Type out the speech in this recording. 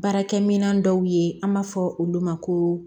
Baarakɛminɛn dɔw ye an b'a fɔ olu ma ko